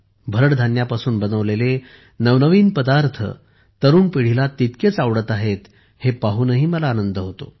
भरड धान्यापासून बनवलेले नवनवीन पदार्थ तरुण पिढीला तितकेच आवडत आहेत हे पाहूनही मला आनंद होतो